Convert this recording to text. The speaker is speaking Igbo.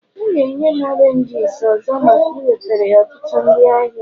ọ ga-enye m oranges ọzọ maka iwetara ya ọtụtụ ndị ahịa